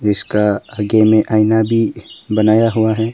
इसका आगे में आईना भी बनाया हुआ है।